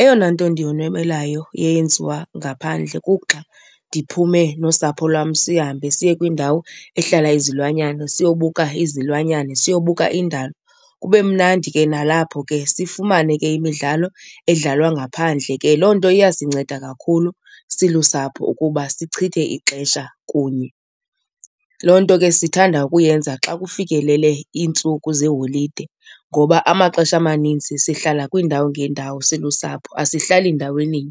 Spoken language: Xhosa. Eyona nto ndiyonwabelayo eyenziwa ngaphandle kuxa ndiphume nosapho lwam sihambe siye kwindawo ehlala izilwanyana siyobuka izilwanyana, siyobuka indalo. Kube mnandi ke nalapho ke sifumane ke imidlalo edlalwa ngaphandle ke, loo nto iyasinceda kakhulu silusapho ukuba sichithe ixesha kunye. Loo nto ke sithanda ukuyenza xa kufikelele iintsuku zeeholide ngoba amaxesha amaninzi sihlala kwiindawo ngeendawo silusapho asihlali ndaweni.